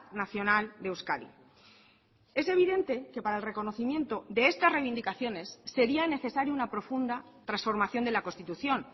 nacional de euskadi es evidente que para el reconocimiento de estas reivindicaciones sería necesario una profunda transformación de la constitución